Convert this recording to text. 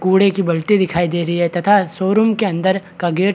कूड़े की बल्टी दिखाई दे रही है तथा शोरूम के अंदर का गेट --